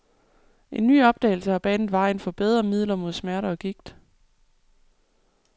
En ny opdagelse har banet vejen for bedre midler mod smerter og gigt.